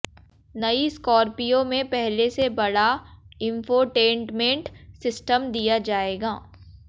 नई स्कॉर्पियो में पहले से बड़ा इंफोटेंटमेंट सिस्टम दिया जाएगा